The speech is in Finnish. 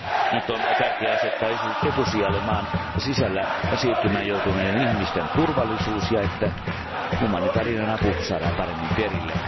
Nyt on tärkeää asettaa etusijalle maan sisällä siirtymään joutuneiden ihmisten turvallisuus ja se, että humanitaarinen apu saadaan paremmin perille.